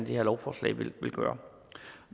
det her lovforslag vil gøre